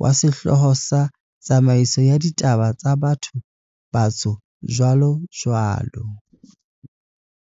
wa sehlooho sa 'Tsamaiso ya Ditaba tsa Batho-Batsho, jwalojwalo.'